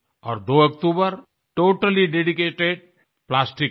और 02 अक्टूबर totally dedicated plastic के लिए